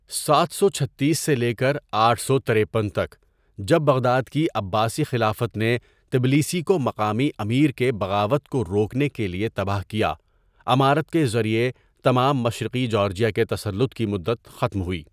سات سو چھتیس سے لے کر آٹھ سو ترپین تک ، جب بغداد کی عباسی خلافت نے تبلیسی کو مقامی امیر کے بغاوت کو روکنے کے لئے تباہ کیا ، امارت کے ذریعہ تمام مشرقی جارجیا کے تسلط کی مدت ختم ہوئی.